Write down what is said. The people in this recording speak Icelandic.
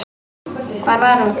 Hver var hún?